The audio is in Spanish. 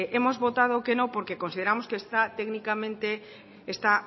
hemos votado que no porque consideramos que técnicamente está